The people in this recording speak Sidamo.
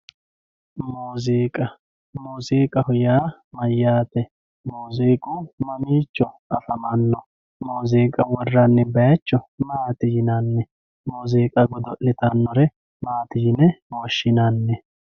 Muuzziqqa, muuzziiqqaho yaa mayyatte, muuzziiqqu mamicho afamanno, muuziqqa woranni bayicho maatti yinanni, muuzziiqqa godo'litanore maati yine woshinanni